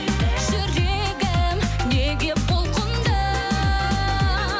жүрегім неге бұлқынды